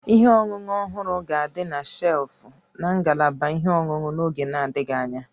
Ihe ọṅụṅụ ọhụrụ ga-adị na shelfụ́ na ngalaba ihe ọṅụṅụ n'oge na-adịghị anya